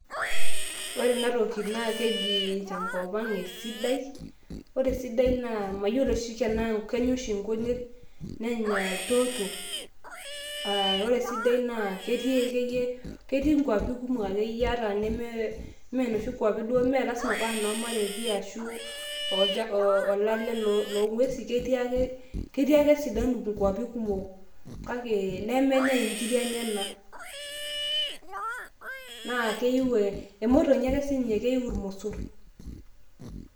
Ore enatoki na keji tenkop ang esidai, ore sidai naa mayiolo oshi ana kenya oshi nkujit? nenya ldoto aa ore esidai naa ketii akeyie ketii nkwapi kumok akeyie ata neme menoshi kuapo duo melasima paa nomareti arashu ola olale loongwesi ketii ake ,ketii ake sidan ngwapi kumok. nemenyae nkiri enyenak na keiu ake emotonyi akensinye naa keiu irmosor.